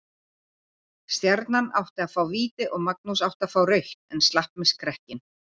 Stjarnan átti að fá víti og Magnús átti að fá rautt en slapp með skrekkinn.